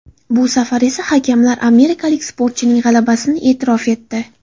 Bu safar esa hakamlar amerikalik sportchining g‘alabasini e’tirof etdi.